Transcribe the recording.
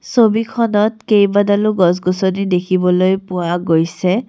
ছবিখনত কেইবাডালো গছ গছনি দেখিবলৈ পোৱা গৈছে।